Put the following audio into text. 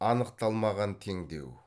анықталмаған теңдеу